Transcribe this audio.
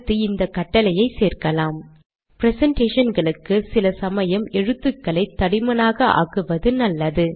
அடுத்து இந்த கட்டளையை சேர்க்கலாம்ப்ரெசன்டேஷன்களுக்கு சில சமயம் எழுத்துக்களை தடிமனாக ஆக்குவது நல்லது